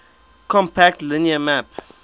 compact linear map